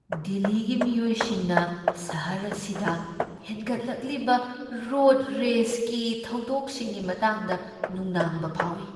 ꯗꯤꯜꯂꯤꯒꯤ ꯃꯤꯑꯣꯏꯁꯤꯡꯅ ꯁꯍꯔ ꯑꯁꯤꯗ ꯍꯦꯟꯒꯠꯂꯛꯂꯤꯕ ꯔꯣꯗ ꯔꯦꯖꯒꯤ ꯊꯧꯗꯣꯛꯁꯤꯡꯒꯤ ꯃꯇꯥꯡꯗ ꯅꯨꯡꯅꯥꯡꯕ ꯐꯥꯎꯏ꯫